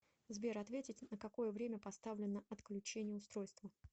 сбер ответить на какое время поставлено отключение устройства